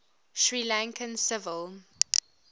sri lankan civil